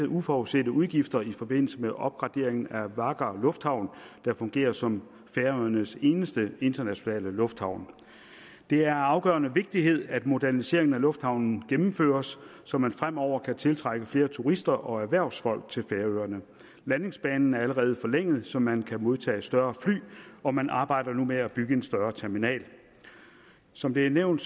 uforudsete udgifter i forbindelse med opgraderingen af várgar lufthavn der fungerer som færøernes eneste internationale lufthavn det er af afgørende vigtighed at moderniseringen af lufthavnen gennemføres så man fremover kan tiltrække flere turister og erhvervsfolk til færøerne landingsbanen er allerede blevet forlænget så man kan modtage større fly og man arbejder nu med at bygge en større terminal som det er blevet